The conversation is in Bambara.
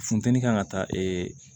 Funteni kan ka taa